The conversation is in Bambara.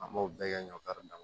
An m'o bɛɛ kɛ ɲɔkari dama